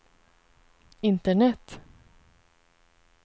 internet